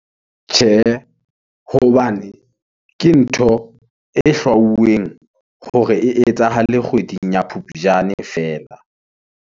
Tjhe , hobane ke ntho, e hlwauweng , hore e etsahale kgweding ya phupjane feela.